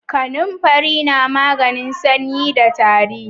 Kanamfari na maganin sanyi da tari